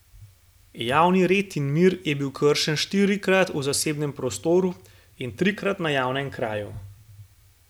Javni red in mir je bil kršen štirikrat v zasebnem prostoru in trikrat na javnem kraju.